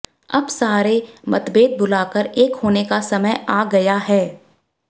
अब सारे मतभेद भुलाकर एक होने का समय आ गया है